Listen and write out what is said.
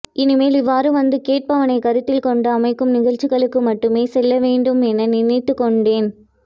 இனிமேல் இவ்வாறு வந்து கேட்பவனை கருத்தில்கொண்டு அமைக்கும் நிகழ்ச்சிகளுக்கு மட்டுமே செல்லவேண்டும் என நினைத்துக்கொண்டேன்